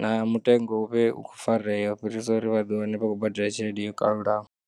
na mutengo uvhe u khou fareya ufhirisa uri vha ḓiwane vha khobadela tshelede i kalulaho.